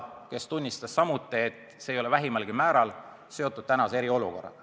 Tema ütles samuti, et see ei ole vähimalgi määral seotud eriolukorraga.